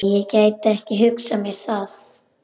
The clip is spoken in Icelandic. Nei, ég gæti ekki hugsað mér það.